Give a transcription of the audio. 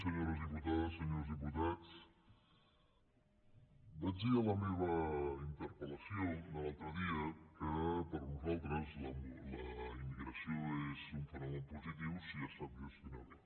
senyores diputades senyors diputats vaig dir en la meva interpel·lació de l’altre dia que per nosaltres la immigració és un fenomen positiu si es sap gestionar bé